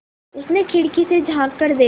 उसने खिड़की से झाँक कर देखा